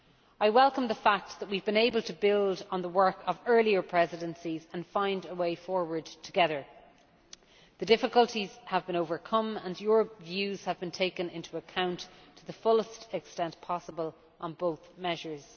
I welcome the fact that we have been able to build on the work of earlier presidencies and find a way forward together. The difficulties have been overcome, and your views have been taken into account to the fullest extent possible on both measures.